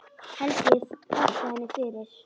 Helgi þakkaði henni fyrir.